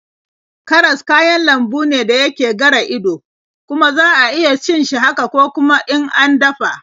Karas kayan lambu ne da yake gara ido, kuma za iya cin shi haka ko kuma in an dafa.